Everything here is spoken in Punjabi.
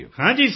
ਹਾਂ ਜੀ ਸਰ